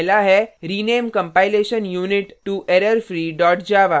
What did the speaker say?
पहला है rename compilation unit to errorfree java